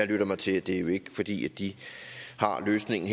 lyttet mig til at det jo ikke er fordi de har løsningen